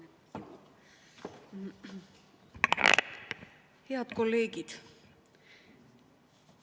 Head kolleegid!